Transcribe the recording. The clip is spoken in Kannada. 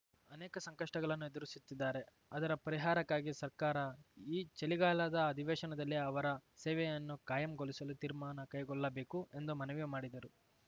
ಅನೇಕ ಸಂಕಷ್ಟಗಳನ್ನು ಎದುರಿಸುತ್ತಿದ್ದಾರೆ ಅದರ ಪರಿಹಾರಕ್ಕಾಗಿ ಸರ್ಕಾರ ಈ ಚಳಿಗಾಲದ ಅಧಿವೇಶನದಲ್ಲಿ ಅವರ ಸೇವೆಯನ್ನು ಕಾಯಂಗೊಳಿಸಲು ತೀರ್ಮಾನ ಕೈಗೊಳ್ಳಬೇಕು ಎಂದು ಮನವಿ ಮಾಡಿದರು